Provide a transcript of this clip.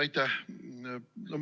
Aitäh!